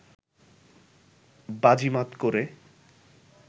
বাজিমাত করে